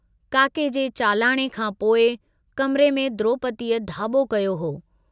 काके जे चालाणे खां पोइ कमरे में द्रोपदीअ धाबो कयो हो।